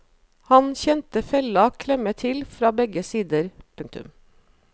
Han kjente fella klemme til fra begge sider. punktum